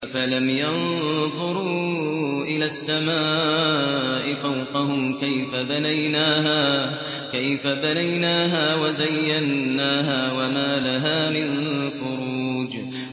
أَفَلَمْ يَنظُرُوا إِلَى السَّمَاءِ فَوْقَهُمْ كَيْفَ بَنَيْنَاهَا وَزَيَّنَّاهَا وَمَا لَهَا مِن فُرُوجٍ